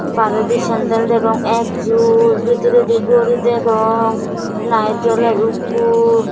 baredi sandal degong ek jur bidiredi gori degong light joler ekku.